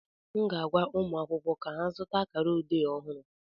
M ga-agwa ụmụ akwụkwọ ka ha zụta akara odee ọhụrụ